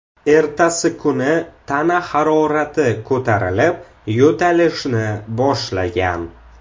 Ertasi kuni tana harorati ko‘tarilib, yo‘talishni boshlagan.